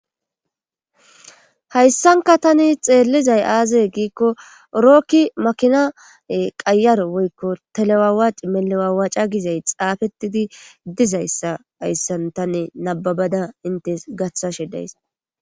Hayssanka tani xeellizay aaze giikko rookki makina qayar woykko telewawac melewawaaca gizay xaafetidi dizayssa hayssan tanne nababada intes gathashe days.